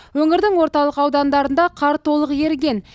өңірдің орталық аудандарында қар толық еріген